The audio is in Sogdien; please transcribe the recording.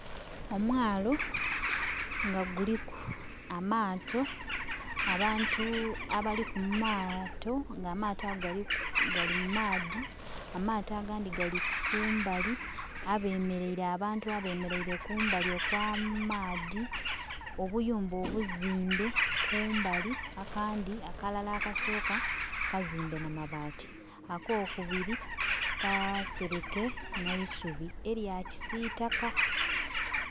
Omwaalo nga guliku amaato abantu abali kumaato nga amaato ago gali mu maadhi, amaato agandhi gali kumbali, abantu abemereire kumbali okwa maadhi, obuyumba obuzimbe kumbali, akandhi akalala akasooka kazimbe nha mabaati akokubiri kasereke neisubi elya kisitaka.